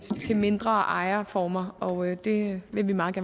de mindre ejerformer og det vil vi meget